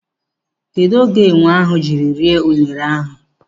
Kedụ oge enwe ahụ jiri rie unere ahụ?